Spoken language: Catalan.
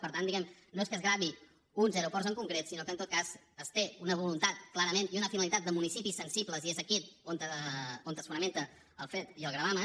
per tant diguemne no és que es gravin uns aeroports en concret sinó que en tot cas es té una voluntat clarament i una finalitat de municipis sensibles i és aquí on es fonamenta el fet i el gravamen